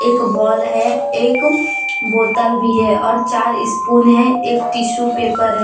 एक बॉल है एक बोतल भी है और चार स्पून है एक टीसू पेपर है।